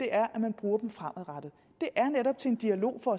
er at man bruger dem fremadrettet det er netop til en dialog og